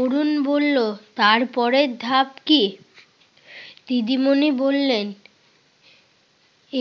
অরুণ বলল, তার পরের ধাপ কি? দিদিমণি বললেন,